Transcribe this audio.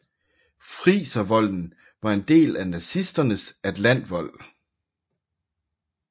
Friservolden var en del af nazisternes atlantvold